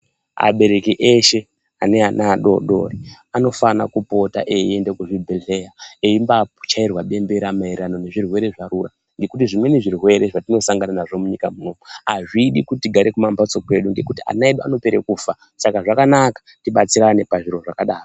Abereki eshe ane ana adodori anofana kupota eiende kuzvibhedhlera eimbachairwa bembera maererano nezvirwere zvarura ngekuti zvimweni zvirwere zvatinosangana nazvo munyika munomu azvidi kuti tigare kumambatso kwedu nekuti ana edu anopere kufa saka zvakanaka tibatsirane pazviro zvakadaro.